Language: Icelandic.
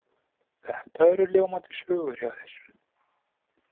Þetta eru ljómandi sögur hjá þér.